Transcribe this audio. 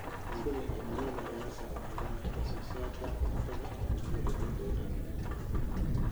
Isbeddelka cimilada ayaa saameeya wax soo saarka cuntada ee adduunka oo dhan.